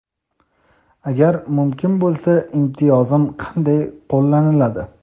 Agar mumkin bo‘lsa imtiyozim qanday qo‘llaniladi?.